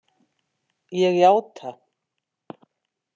Ég játa.